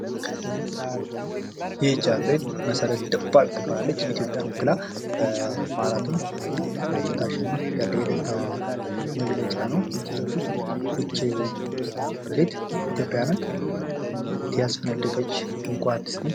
ይች አትሌት መሠረት ደፋር ትባላለች። ኢትዮጵያን ወክላ በማራቶን ስታሸንፍ ያለ የደስታ መግለጫ ነው። ይች አትሌት ኢትዮጵያን ያስፈነደቀች እንቁ አትሌት ነች።